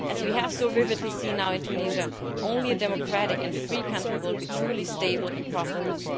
As we have so vividly seen now in Tunisia, only a democratic and free country will be truly stable and prosperous.